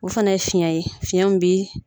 U fana ye fiyɛn ye fiyɛn min bi